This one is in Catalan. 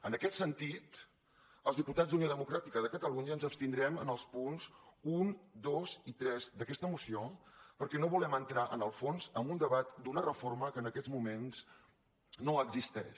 en aquest sentit els diputats d’unió democràtica de catalunya ens abstindrem en els punts un dos i tres d’aquesta moció perquè no volem entrar en el fons en un debat d’una reforma que en aquests moments no existeix